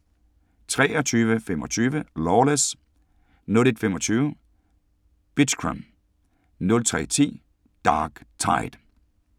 23:25: Lawless 01:25: Bitchkram 03:10: Dark Tide